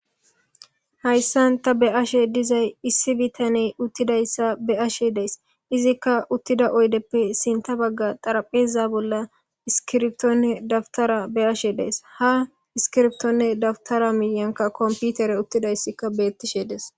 Hayssan ta be ashe dizay issi bitaney uttidayssa be ashe dees izikka uttida oydeppe sinta bagga xarapheza bolla iskirbtonne dabtara be ashe dees ha iskirbtonne dabtara miyanka komputere uttidayssikka beettishe des.